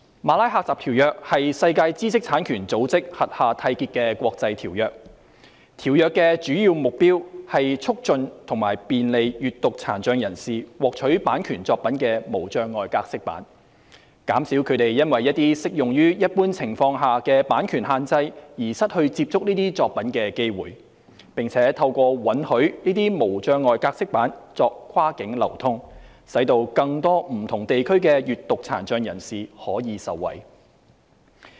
《馬拉喀什條約》是在世界知識產權組織轄下締結的國際條約，條約的主要目標是促進及便利閱讀殘障人士獲取版權作品的無障礙格式版，減少他們因為一些適用於一般情況下的版權限制而失去接觸這些作品的機會，並且透過允許這些無障礙格式版作跨境流通，使更多不同地區的閱讀殘障人士可以受惠。